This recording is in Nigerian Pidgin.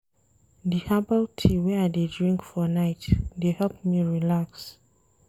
Di herbal tea wey I dey drink for night dey help me relax.